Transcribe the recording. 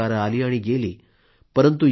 अनेक सरकारे आली आणि गेली